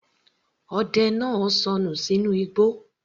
Ọdẹ náà sọnù sínú igbó